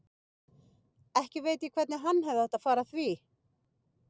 Ekki veit ég hvernig hann hefði átt að fara að því.